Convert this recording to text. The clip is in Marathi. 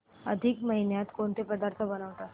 अधिक महिन्यात कोणते पदार्थ बनवतात